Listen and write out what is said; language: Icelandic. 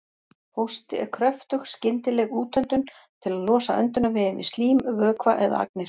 Hósti er kröftug skyndileg útöndun til að losa öndunarveginn við slím, vökva eða agnir.